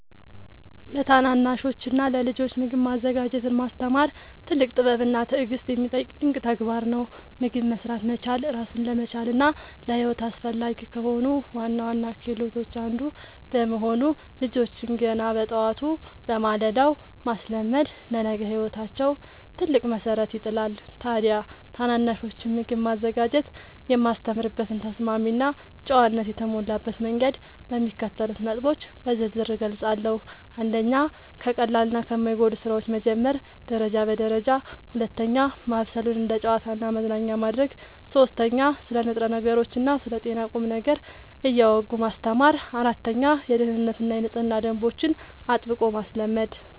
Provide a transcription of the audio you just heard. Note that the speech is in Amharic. ለታናናሾችና ለልጆች ምግብ ማዘጋጀትን ማስተማር ትልቅ ጥበብና ትዕግሥት የሚጠይቅ ድንቅ ተግባር ነው። ምግብ መሥራት መቻል ራስን ለመቻልና ለሕይወት አስፈላጊ ከሆኑ ዋና ዋና ክህሎቶች አንዱ በመሆኑ፣ ልጆችን ገና በጠዋቱ (በማለዳው) ማስለመድ ለነገ ሕይወታቸው ትልቅ መሠረት ይጥላል። ታዲያ ታናናሾችን ምግብ ማዘጋጀት የማስተምርበትን ተስማሚና ጨዋነት የተሞላበት መንገድ በሚከተሉት ነጥቦች በዝርዝር እገልጻለሁ፦ 1. ከቀላልና ከማይጎዱ ሥራዎች መጀመር (ደረጃ በደረጃ) 2. ማብሰሉን እንደ ጨዋታና መዝናኛ ማድረግ 3. ስለ ንጥረ ነገሮችና ስለ ጤና ቁም ነገር እያወጉ ማስተማር 4. የደኅንነትና የንጽህና ደንቦችን አጥብቆ ማስለመድ